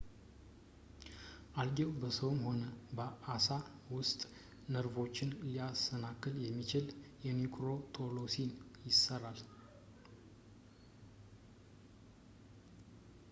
አልጌው በሰውም ሆነ በአሳ ውስጥ ነርቮችን ሊያሰናክል የሚችል ኒውሮቶክሲን ይሠራል